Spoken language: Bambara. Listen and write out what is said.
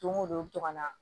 Don go don i bi to ka na